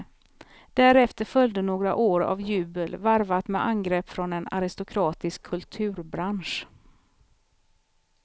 Därefter följde några år av jubel varvat med angrepp från en aristokratisk kulturbransch.